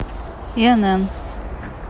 инн